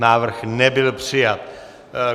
Návrh nebyl přijat.